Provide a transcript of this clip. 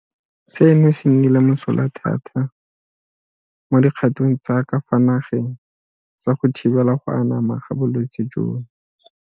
Seno se nnile mosola thata mo dikgatong tsa ka fa nageng tsa go thibela go anama ga bolwetse jono.